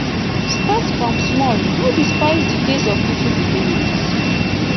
start from small no dispise di days of little beginnings